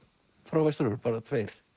frá Vestur Evrópu bara tveir